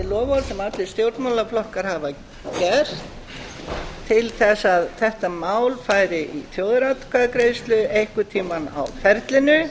loforð sem allir stjórnmálaflokkar hafa gert til að þetta mál færi í þjóðaratkvæðagreiðslu einhvern tíma á ferlinu ég